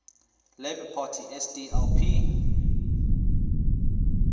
labour party sdlp